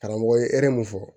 Karamɔgɔ ye hɛrɛ mun fɔ